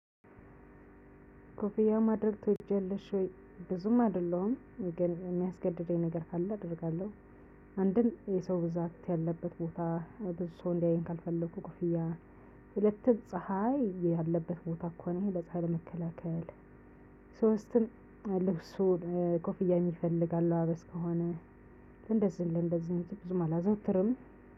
ኮፍያ ማድረግ ትወጃለሽ ወይ? ብዙም አይደለሁም ግን የሚያስገድደኝ ነገር ካለ አደርጋለሁ። አንድም የሰው ብዛት ያለበት ቦታ ብዙ ሰው እንዲያየኝ ካልፈለኩ፣ ሁለትም ፀሀይ ያለበት ቦታ እንኳን ይሄ ለፀሀይ ለመከላከል፣ ሶስትም ልብሱን ኮፍያ የሚፈልግ አለባበስ ከሆነ ለእንደዚህ ለእንደዚህ ውጪ ብዙም አላዘወትርም።